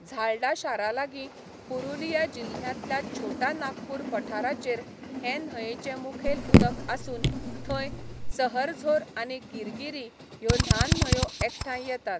झाल्डा शारालागीं पुरुलिया जिल्ह्यांतल्या छोटा नागपूर पठाराचेर हे न्हंयेचें मुखेल उदक आसून थंय सहरझोर आनी गिरगिरी ह्यो ल्हान न्हंयो एकठांय येतात.